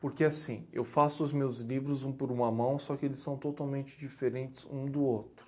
Porque assim, eu faço os meus livros um por uma mão, só que eles são totalmente diferentes um do outro.